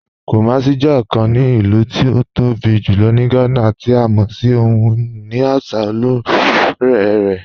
Kumàsì jẹ́ ọ̀kàn ní ilù tí ó tó bí julọ̀ ní Gànà, tí a mọ̀ fún ohun-iní àṣà ọlọ́rọ̀ rẹ̀.